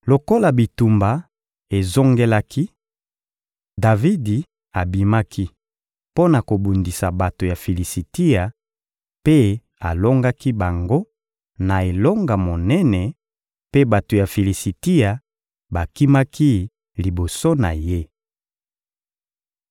Lokola bitumba ezongelaki, Davidi abimaki mpo na kobundisa bato ya Filisitia mpe alongaki bango na elonga monene, mpe bato ya Filisitia bakimaki liboso na ye.